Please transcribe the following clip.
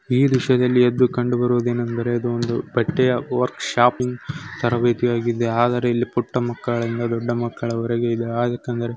ಈ ದ್ರಶ್ಯದಲ್ಲಿ ಎದ್ದು ಕಂಡು ಬರುದೇನೆಂದರೆ ಇದು ಒಂದು ಬಟ್ಟೆಯ ವರ್ಕ್ ಶಾಪಿಂಗ್ ತರಬೇತಿ ಆಗಿದೆ ಆದರೆ ಪುಟ್ಟ ಮಕ್ಕಳಿಂದ ದೊಡ್ಡ ಮಕ್ಕಳರವರೆಗೆ ಇದು ಆಗತೆಂದರೆ --